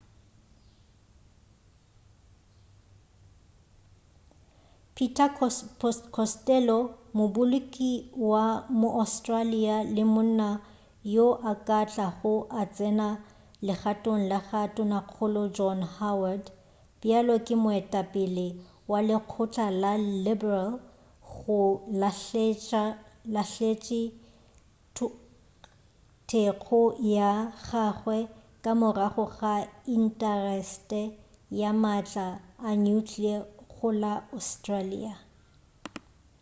peter costello moboloki wa mo-austarlia le monna yo a ka tlago a tsena le gatong la tonakgolo john howard bjalo ka moetapele wa lekgotla la liberal go lahletše thekgo ya gagwe ka morago ga intasetere ya maatla a nuclear go la australia